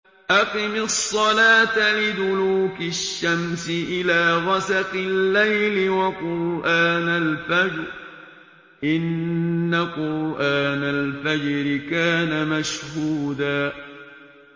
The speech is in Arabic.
أَقِمِ الصَّلَاةَ لِدُلُوكِ الشَّمْسِ إِلَىٰ غَسَقِ اللَّيْلِ وَقُرْآنَ الْفَجْرِ ۖ إِنَّ قُرْآنَ الْفَجْرِ كَانَ مَشْهُودًا